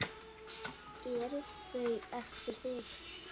Eru þau eftir þig?